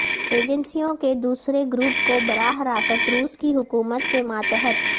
ایجنسیوں کے دوسرے گروپ کو براہ راست روس کی حکومت کے ماتحت